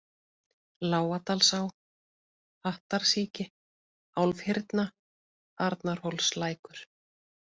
Lágadalsá, Hattarsíki, Álfhyrna, Arnarhólslækur